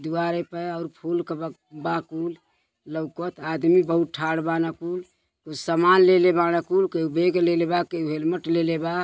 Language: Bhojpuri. दीवारे पे और फूल क ब बा कुल लौकत। आदमी बहुत ठाड बाड़ कुल। ऊ सामान लेले बाड़ कुल केहू बेग लेले बा केहू हेलमेट लेले बा।